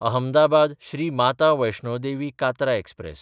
अहमदाबाद–श्री Mata Vaishno Devi Katra express